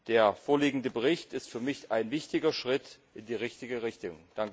Der vorliegende Bericht ist für mich ein wichtiger Schritt in die richtige Richtung.